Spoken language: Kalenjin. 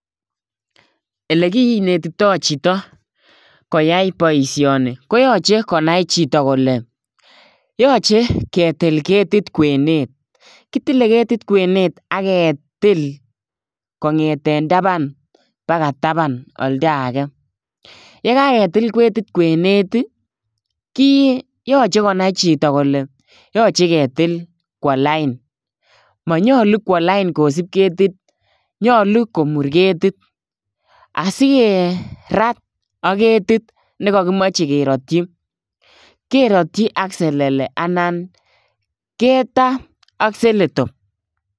Ole kinetitoi chito koyai boisoni, koyache konai chito kole yache ketil ketit kwenet. Kitile ketit kwenet aketil kong'eten taban mpaka taban olda age. Yekaketil ketit kwenet, ki yache konai chito kole yache ketil kwo lain. Manyolu kwo lain kosub ketit. Nyolu komur ketit. Asikerat ak ketit nekakimache keratchi, keratchi ak selele anan ketaa ak seletop.